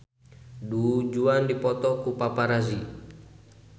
Du Juan dipoto ku paparazi